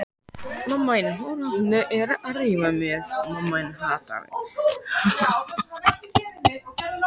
Fyrsti stýrimaður taldi spurningunni beint til sín og yppti öxlum.